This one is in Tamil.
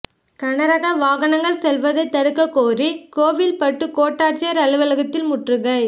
கனரக வாகனங்கள் செல்வதைத் தடுக்கக் கோரி கோவில்பட்டி கோட்டாட்சியா் அலுவலகத்தில் முற்றுகை